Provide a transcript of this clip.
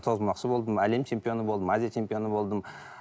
тоғызқұмалақшы болдым әлем чемпионы болдым азия чемпионы болдым